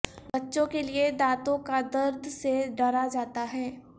بچوں کے لئے دانتوں کا درد سے ڈرا جاتا ہے